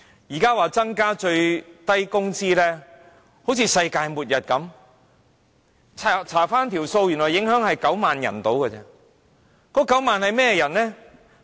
現在說增加最低工資就像世界末日般，翻查數字原來只影響大約9萬人。